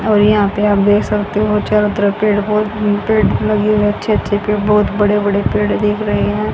और यहां पर आप देख सकते हो चारों तरफ पेड़ पौधे पेड़ लगे हुए हैं अच्छे अच्छे बड़े बड़े पेड़ दिख रहे है।